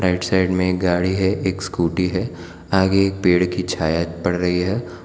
इस साइड में एक गाड़ी है एक स्कूटी है आगे एक पेड़ की छाया पड़ रही है।